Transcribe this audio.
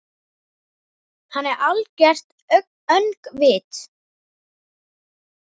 Hann er algert öngvit!